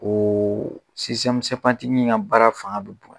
Ko ka baara fanga bɛ bonya